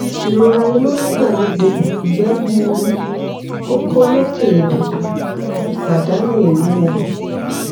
irora inu nigbagbogbo igbe gbuuru koko loke idodo ipadanu iwuwo